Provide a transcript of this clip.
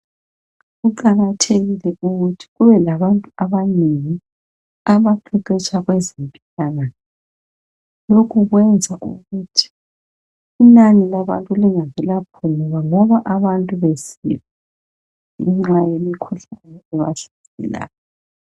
Kuqakathekile ukuthi kube labantu abanengi abaqeqetsha kwezempilakahle lokhu kwenza ukuthi inani labantu lingaze laphunguka ngoba abantu besifa ngenxa yemikhuhlane ebahlaselayo.